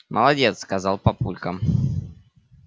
молодец сказал папулька